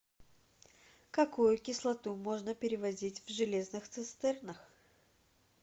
какую кислоту можно перевозить в железных цистернах